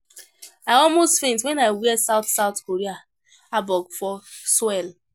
I almost faint wen I wear South South Korea Hanbok for Seoul